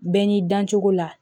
Bɛɛ n'i dancogo la